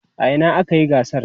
a Ina akayi gasar?